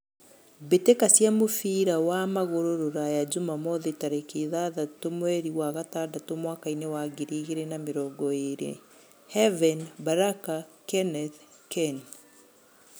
Mbitika cia mũbira wa magũrũ rũraya, Jumamothĩ, tariki ithathatũ mweri wa gatandatũ mwakainĩ wa ngiri igĩrĩ na mĩrongo ĩrĩ: Heaven, Baraka, Kenneth, Ken.